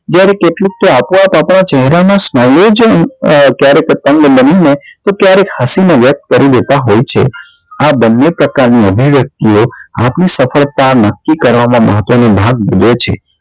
જ્યારે કેટલુક તો આપો આપ આપણા ચહેરા ના smile ઓ જ અક્યારેક પતંગ બનીને તો ક્યારેક હસી માં વ્યક્ત કરી દેતા હોય છે આ બન્ને પ્રકાર નાં અહીન એટલે આપણી સફળતા નક્કી કરવા માં મહત્વ નો ભાગ ભજવે છે